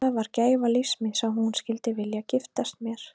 Það var gæfa lífs míns að hún skyldi vilja giftast mér.